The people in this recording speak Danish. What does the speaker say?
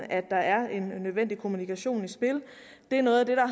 at der er en nødvendig kommunikation i spil det er noget af det der